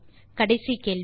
கடைசி கேள்வி